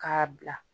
K'a bila